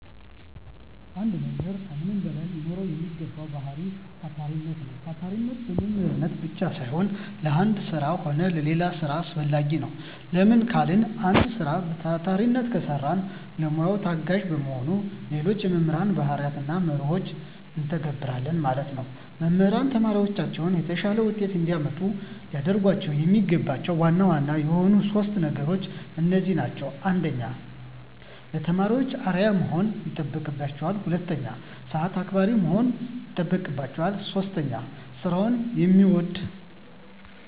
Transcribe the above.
አንድ መምህር ከምንም በላይ ሊኖረዉ የሚገባዉ ባህሪይ ታታሪነት ነዉ። ታታሪነት ለመምህርነት ብቻም ሳይሆን ለአንድ ስራ ሆነ ለሌላ ስራ አስፈላጊ ነዉ። ለምን ካልን አንድ ስራ በታታሪነት ከሰራን ለሙያዉ ተገዢ በመሆን ሌሎች የመምህር ባህርያትንና መርሆችን እንተገብረለን ማለት ነዉ። መምህራን ተማሪዎቻቸውን የተሻለ ዉጤት እንዲያመጡ ሊያደርጓቸዉ የሚገባቸዉ ዋና ዋና የሆኑት 3 ነገሮች እነዚህ ናቸዉ። 1. ለተማሪዎች አርዕያ መሆን ይጠበቅበታል። 2. ሰአት አክባሪ መሆን ይጠበቅበታል። 3. ስራዉን የሚወድ።